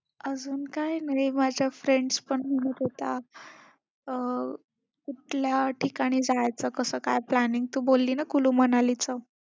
अजून काय नाही. माझ्या friends पण म्हणत होत्या अं कुठल्या ठिकाणी जायचं, कसं काय planning तू बोलली ना कुलूमनालीचं,